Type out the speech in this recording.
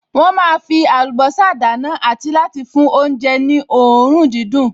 Wọ́n máa fí àlùbọ́sà dáná àti láti fi fún oúnjẹ ní òórùn dídùn